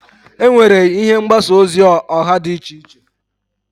Enwere ihe mgbasa ozi oha di iche iche.